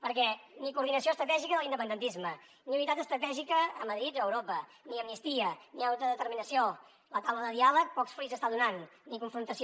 perquè ni coordinació estratègica de l’independentisme ni unitat estratègica a madrid o a europa ni amnistia ni autodeterminació la taula de diàleg pocs fruits està donant ni confrontació